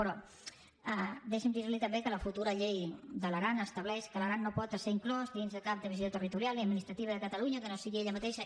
però deixi’m dir li també que la futura llei de l’aran estableix que l’aran no pot esser inclòs dins de cap divisió territorial ni administrativa de catalunya que no sigui ella mateixa